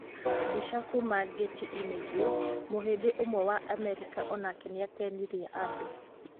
Mbica kuuma Getty images, Mũhĩndĩ ũmwe wa Amerika o nake nĩ aakenirie andũ.